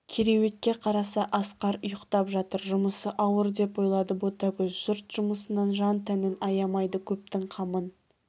кереуетке қараса асқар ұйқтап жатыр жұмысы ауыр деп ойлады ботагөз жұрт жұмысынан жан-тәнін аямайды көптің қамын